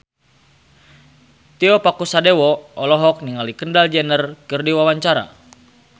Tio Pakusadewo olohok ningali Kendall Jenner keur diwawancara